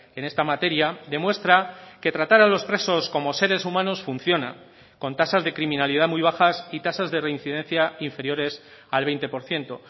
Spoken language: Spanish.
en esta materia demuestra que tratar a los presos como seres humanos funciona con tasas de criminalidad muy bajas y tasas de reincidencia inferiores al veinte por ciento